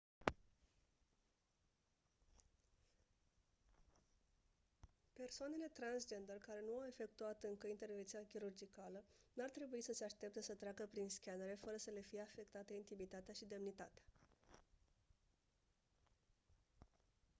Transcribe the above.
persoanele transgender care nu au efectuat încă intervenția chirurgicală n-ar trebui să se aștepte să treacă prin scanere fără să le fie afectate intimitatea și demnitatea